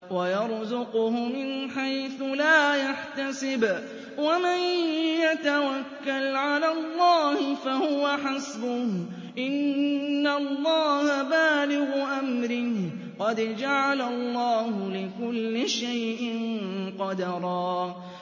وَيَرْزُقْهُ مِنْ حَيْثُ لَا يَحْتَسِبُ ۚ وَمَن يَتَوَكَّلْ عَلَى اللَّهِ فَهُوَ حَسْبُهُ ۚ إِنَّ اللَّهَ بَالِغُ أَمْرِهِ ۚ قَدْ جَعَلَ اللَّهُ لِكُلِّ شَيْءٍ قَدْرًا